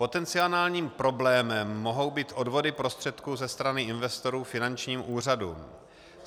Potenciálním problémem mohou být odvody prostředků ze strany investorů finančním úřadům.